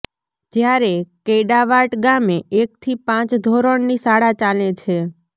જ્યારે કૈડાવાટ ગામે એકથી પાંચ ધોરણની શાળા ચાલે છે